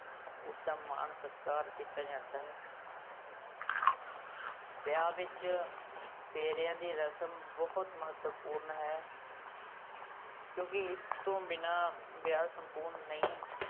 ਉਸਦਾ ਮਾਨ ਸਤਿਕਾਰ ਕੀਤਾ ਜਾਂਦਾ ਹੈ ਵਿਆਹ ਵਿਚ ਫੇਰਿਆ ਦੀ ਰਸਮ ਬਹੁਤ ਮਹੱਤਵਪੂਰਨ ਹੈ ਕਿਉਂਕਿ ਇਸ ਤੋਂ ਬਿਨਾ ਵਿਆਹ ਸੰਪੂਰਨ ਨਹੀਂ।